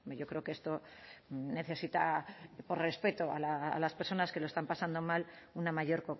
yo creo que esto necesita respeto a las personas que lo están pasando mal una mayor